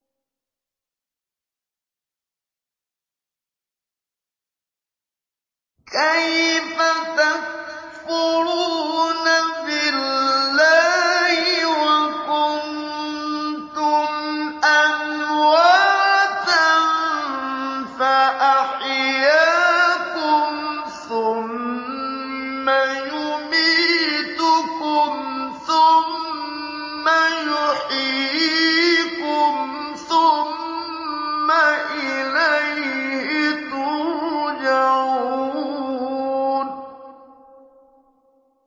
كَيْفَ تَكْفُرُونَ بِاللَّهِ وَكُنتُمْ أَمْوَاتًا فَأَحْيَاكُمْ ۖ ثُمَّ يُمِيتُكُمْ ثُمَّ يُحْيِيكُمْ ثُمَّ إِلَيْهِ تُرْجَعُونَ